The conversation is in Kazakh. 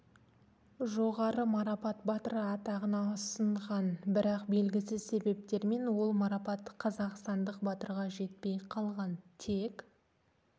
жоғары марапат батыры атағына ұсынған бірақ белгісіз себептермен ол марапат қазақстандық батырға жетпей қалған тек